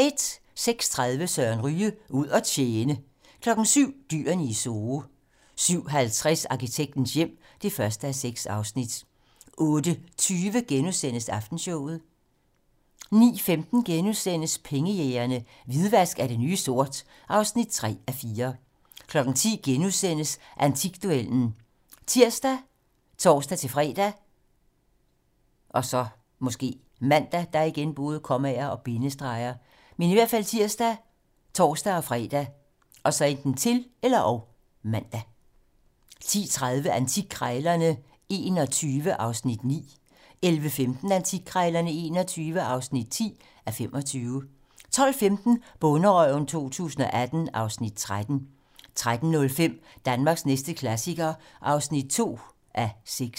06:30: Søren Ryge: Ud at tjene 07:00: Dyrene i Zoo 07:50: Arkitektens hjem (1:6) 08:20: Aftenshowet * 09:15: Pengejægerne - Hvidvask er det nye sort (3:4)* 10:00: Antikduellen *( tir, tor-fre, -man) 10:30: Antikkrejlerne XXI (9:25) 11:15: Antikkrejlerne XXI (10:25) 12:15: Bonderøven 2018 (Afs. 13) 13:05: Danmarks næste klassiker (2:6)